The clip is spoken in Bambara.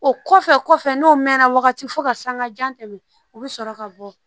O kɔfɛ kɔfɛ n'o mɛnna wagati fo ka sanga jan tɛmɛ u bɛ sɔrɔ ka bɔ